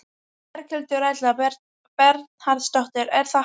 Berghildur Erla Bernharðsdóttir: Er það hægt?